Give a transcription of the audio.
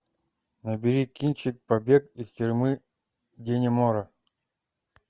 набери кинчик побег из тюрьмы даннемора